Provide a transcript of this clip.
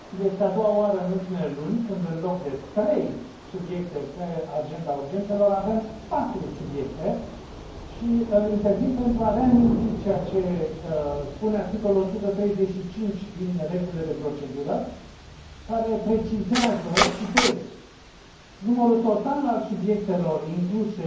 Este a doua oară în ultimele luni când, în loc de trei subiecte pe agenda urgențelor, avem patru subiecte și intervin pentru a reaminti ceea ce spune articolul 135 din Regulamentul de procedură, care precizează Numărul total al subiectelor înscrise